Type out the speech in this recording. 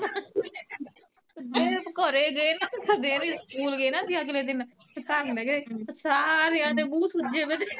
ਘਰੇ ਗਏ ਤਾਂ ਸਵੇਰੇ ਸਕੂਲ ਗਏ ਨਾ ਅਸੀਂ ਅਗਲੇ ਦਿਨ ਸਾਰਿਆਂ ਦੇ ਮੂੰਹ ਸੁਜੇ ਪਏ